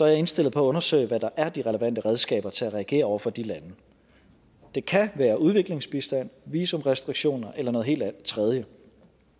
jeg indstillet på at undersøge hvad der er de relevante redskaber til at reagere over for de lande det kan være udviklingsbistand visumrestriktioner eller noget helt tredje